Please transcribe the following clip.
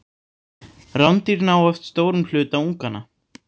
Rándýr ná oft stórum hluta unganna.